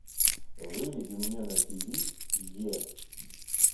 выведи мне на тиви е